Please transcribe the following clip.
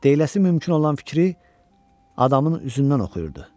Deyiləsi mümkün olan fikri adamın üzündən oxuyurdu.